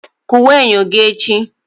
Kụwaa enyo gị echi!